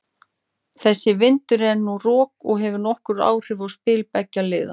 Þessi vindur er núna rok og hefur nokkur áhrif á spil beggja liða.